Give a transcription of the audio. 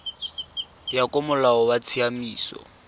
ya ka molao wa tsamaiso